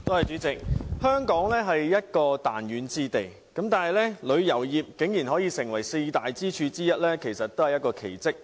主席，香港作為彈丸之地，旅遊業卻可以成為四大經濟支柱之一，確實是一個奇蹟。